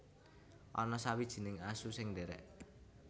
Ana sawijining asu sing ndhèrèk